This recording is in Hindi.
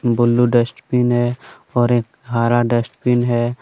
ब्लू डस्टबिन है और एक हरा डस्टबिन है।